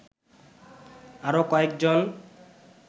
আরও কয়েকজন